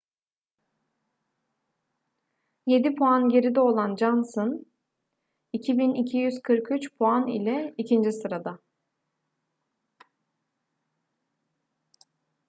yedi puan geride olan johnson 2.243 puan ile ikinci sırada